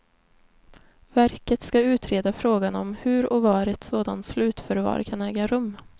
Verket ska utreda frågan om hur och var ett sådant slutförvar kan äga rum.